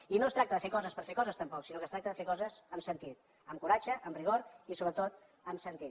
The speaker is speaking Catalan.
i no es tracta de fer coses per fer coses tampoc sinó que es tracta de fer coses amb sentit amb coratge amb rigor i sobretot amb sentit